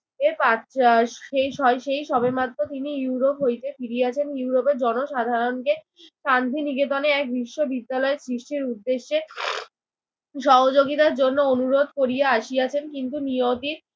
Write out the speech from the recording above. এই পাশ্চা সেই স সেই সবেমাত্র তিনি ইউরোপ হইতে ফিরিয়াছেন ইউরোপের জনসাধারণকে শান্তিনিকেতনে এক বিশ্ববিদ্যালয়ে সৃষ্টির উদ্দেশ্যে সহযোগিতার জন্য অনুরোধ করিয়া আসিয়াছেন। কিন্তু নিয়তির